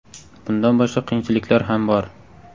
Bundan boshqa qiyinchiliklar ham bor.